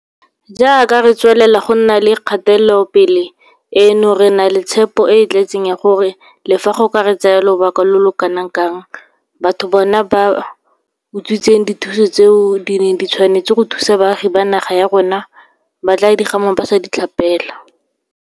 Jaaka re tswelela go nna le kgatelopele eno, re na le tshepo e e tletseng ya gore le fa go ka re tsaya lobaka lo lo kanakang, bao bona ba utswitseng dithuso tseo di neng di tshwanetse go thusa baagi ba naga ya rona ba tla di gama ba sa di tlhapela.